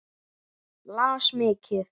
Las mikið.